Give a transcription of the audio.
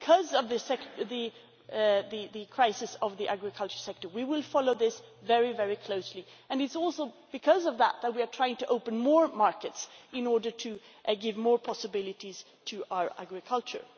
Because of the crisis of the agriculture sector we will follow this very closely, and it is also because of that we are trying to open more markets in order to give more possibilities to our agriculture.